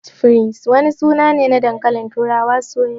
"French fries" wani suna ne na dankalin turawa soyayye.